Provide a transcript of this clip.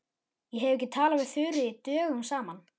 Ég hef ekki talað við Þuríði dögum saman.